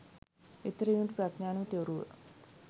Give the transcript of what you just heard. එතෙර වීමට ප්‍රඥාව නමැති ඔරුව